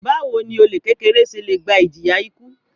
Báwo ni olè kékeré se le gba ìjìyà ikú?